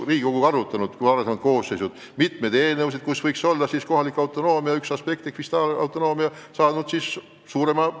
Riigikogu varasemad koosseisud on ju arutanud mitmeid eelnõusid, mille kohaselt kohaliku autonoomia üks osis ehk fiskaalautonoomia peaks kasvama.